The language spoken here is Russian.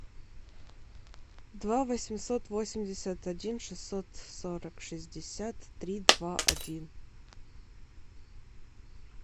два восемьсот восемьдесят один шестьсот сорок шестьдесят три два один